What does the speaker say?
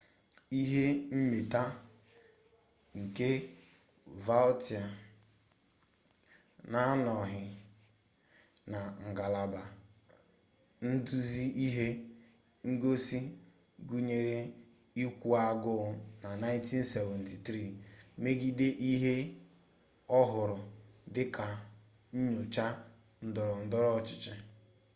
ihe mmeta nke vautier na-anọghị na ngalaba nduzi ihe ngosi gụnyere ịkwụ agụụ na 1973 megide ihe ọ hụrụ dị ka nnyocha ndọrọndọrọ ọchịchị